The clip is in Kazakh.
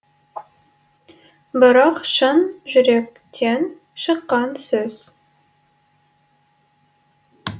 бірақ шын жүректен шыққан сөз